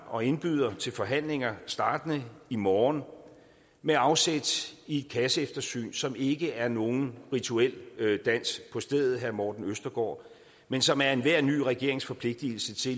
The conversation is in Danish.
og indbyder til forhandlinger startende i morgen med afsæt i et kasseeftersyn som ikke er nogen rituel dans på stedet herre morten østergaard men som er enhver ny regerings forpligtelse